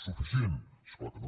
suficient és clar que no